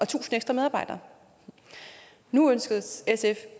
tusind ekstra medarbejdere nu ønsker sf